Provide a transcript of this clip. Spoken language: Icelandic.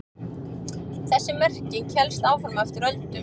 Þessi merking hélst fram eftir öldum.